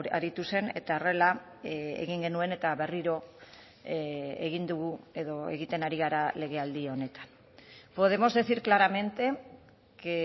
aritu zen eta horrela egin genuen eta berriro egin dugu edo egiten ari gara legealdi honetan podemos decir claramente que